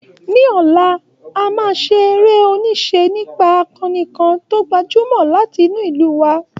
Ní ọ̀la, a máa ṣe eré-oníṣe nípa akoni kan tó gbajúmọ̀ láti inú ìlú wa.